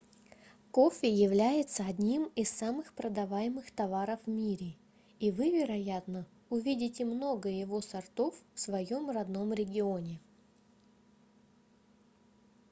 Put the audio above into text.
кофе является одним из самых продаваемых товаров в мире и вы вероятно увидите много его сортов в своём родном регионе